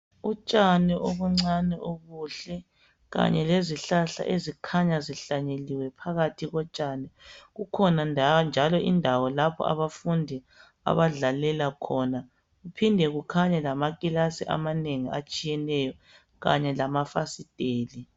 Utshani obuncane obuhle kanye lezihlahla ezikhanya zihlanyeliwe phakathi kotshani. Kukhona njalo indawo lapho abafundi abadlalela khona. Kuphinde kukhanye lamakilasi amanengi atshiyeneyo kanye lamafasiteli.